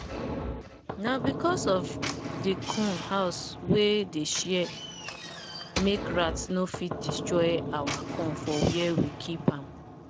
na because of the corn house we dey share make rat no fit destroy our corn for where we keep keep am.